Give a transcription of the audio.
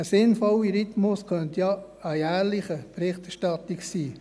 Ein sinnvoller Rhythmus könnte ja eine jährliche Berichterstattung sein.